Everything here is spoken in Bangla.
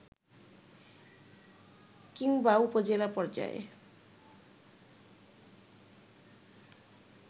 কিংবা উপজেলা পর্যায়ে